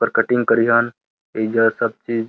पर कटिंग करीहन। एइजा सब चीज़ --